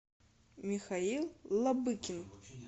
михаил лобыкин